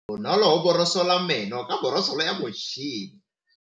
Bonolô o borosola meno ka borosolo ya motšhine.